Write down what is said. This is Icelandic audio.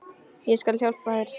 Ég skal hjálpa þér.